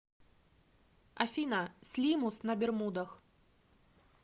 афина слимус на бермудах